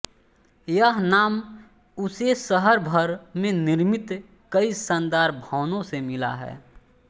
यह नाम उसे शहर भर में निर्मित कई शानदार भवनों से मिला है